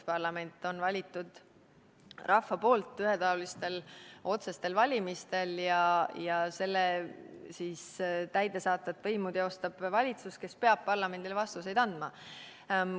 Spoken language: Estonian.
Parlament on valitud rahva poolt ühetaolistel otsestel valimistel ja täidesaatvat võimu teostab valitsus, kes peab parlamendile vastuseid andma.